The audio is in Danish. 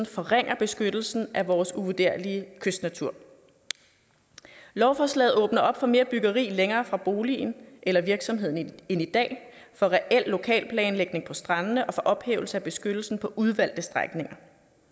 forringer beskyttelsen af vores uvurderlige kystnatur lovforslaget åbner op for mere byggeri længere fra boligen eller virksomheden end i dag for reel lokalplanlægning på strandene og for ophævelse af beskyttelsen på udvalgte strækninger